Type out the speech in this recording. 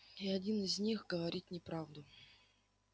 и один из них говорит неправду